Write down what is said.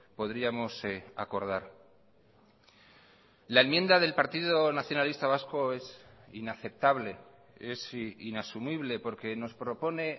podríamos acordar la enmienda del partido nacionalista vasco es inaceptable es inasumible porque nos propone